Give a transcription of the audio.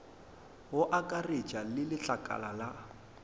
go akaretša le letlakala la